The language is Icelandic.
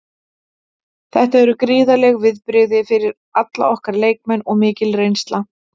Þetta eru gríðarleg viðbrigði fyrir alla okkar leikmenn og mikil reynsla.